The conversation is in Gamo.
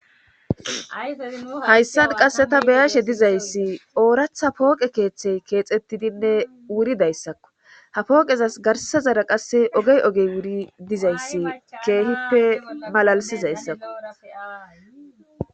Hayssan qasse ta beyashe dizayssi ooratha pooqe keeththey keexettidinne wuridayssakko ha pooqezas garsazara qasse ogey ogey wuri dizayssi keehippe malalisizayssakko.